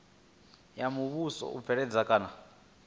ya muvhuso u bveledza kana